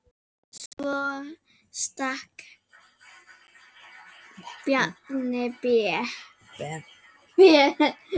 Svo stakk Bjarni Ben.